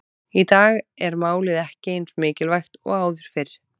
Í dag er málið ekki eins mikilvægt og áður fyrr.